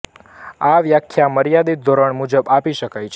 આ વ્યાખ્યા માર્યદિત ધોરણ મુજબ આપી શકાય છે